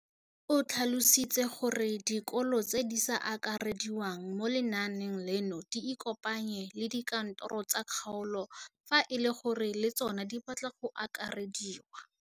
O tlhalositse gore dikolo tse di sa akarediwang mo lenaaneng leno di ikopanye le dikantoro tsa kgaolo fa e le gore le tsona di batla go akarediwa.